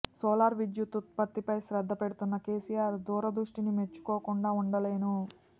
solar విద్యుత్ ఉత్పత్తిపై శ్రద్ధ పెడుతున్న కెసిఆర్ దూరదృష్టిని మెచ్చుకోకుండా ఉండలేను